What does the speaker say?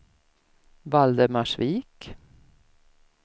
Valdemarsvik